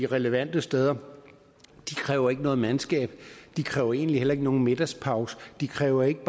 relevante steder de kræver ikke noget mandskab de kræver egentlig heller ikke nogen middagspause de kræver ikke